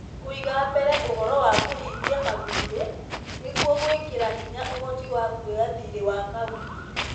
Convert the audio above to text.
kũiga mbere ũhoro wa kũhingia mathiirĩ, nĩguo gwĩkĩra hinya ũhoti wa kuoya thiirĩ wa kauntĩ .